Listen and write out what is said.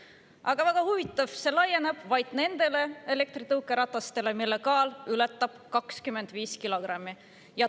Aga väga huvitav, see laieneb vaid nendele elektritõukeratastele, mille kaal ületab 25 kilogrammi.